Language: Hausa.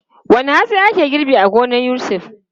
Wane hatsi ake girba a gonar Yusuf?